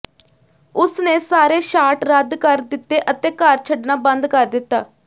ਉਸਨੇ ਸਾਰੇ ਸ਼ਾਟ ਰੱਦ ਕਰ ਦਿੱਤੇ ਅਤੇ ਘਰ ਛੱਡਣਾ ਬੰਦ ਕਰ ਦਿੱਤਾ